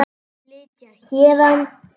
Flytja héðan.